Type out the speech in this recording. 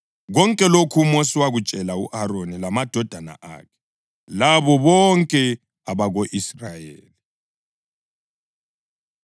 Konke lokhu uMosi wakutshela u-Aroni lamadodana akhe, labo bonke abako-Israyeli.